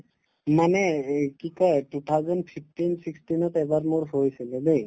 মানে এই কি কই two thousand fifteen sixteen ত এবাৰ মোৰ হৈছিলে দেই